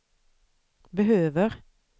behöver